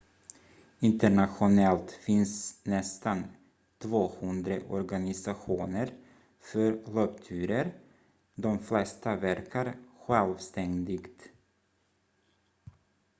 internationellt finns nästan 200 organisationer för löpturer de flesta verkar självständigt